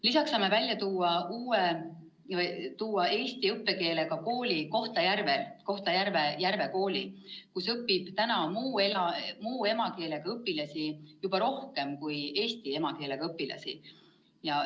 Lisaks saame välja tuua eesti õppekeelega kooli Kohtla-Järvel, Kohtla-Järve Järve Kooli, kus õpib muu emakeelega õpilasi juba rohkem kui eesti emakeelega õpilasi.